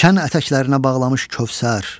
Şən ətəklərinə bağlamış Kövsər.